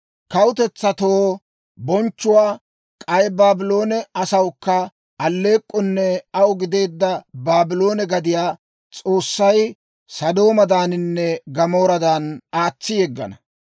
Kawutetsatoo bonchchuwaa, k'ay Baabloone asawukka alleek'k'onne aw gideedda Baabloone gadiyaa S'oossay Sodoomadaaninne Gamooradan aatsi yeggana.